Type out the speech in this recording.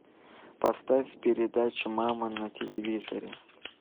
поставь передачу мама на телевизоре